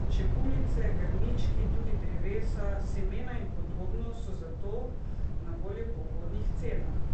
Čebulice, grmički, tudi drevesa, semena in podobno so zato na voljo po ugodnih cenah.